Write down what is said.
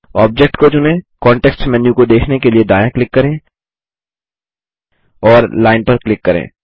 object को चुनें context menu को देखने के लिए दायाँ क्लिक करें और लाइन पर क्लिक करें